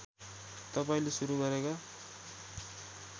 तपाईँले सुरू गरेका